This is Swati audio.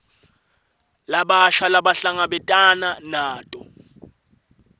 labasha labahlangabetana nato